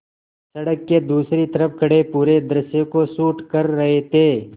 सड़क के दूसरी तरफ़ खड़े पूरे दृश्य को शूट कर रहे थे